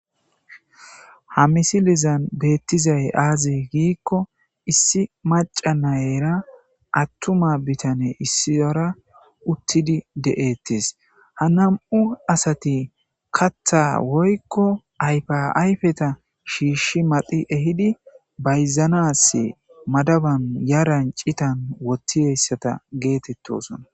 Ha misilizan beettizay aazi giikko issi macana nayera attuma bitane issiyora uttidi de7ettis ha nam7u asati katha woykko aypaayfeta shiishshi madhi ehidi bayzanas madaban yaran citan wottieyssata geetettosona.